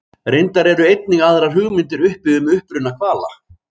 Reyndar eru einnig aðrar hugmyndir uppi um uppruna hvala.